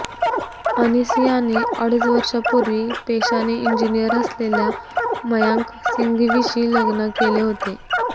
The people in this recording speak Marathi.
अनिसियाने अडीच वर्षापूर्वी पेशाने इंजिनिअर असलेल्या मयांक सिंघवीशी लग्न केले होते